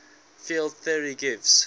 field theory gives